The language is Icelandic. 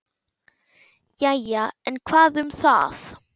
Jæja, en hvað um það.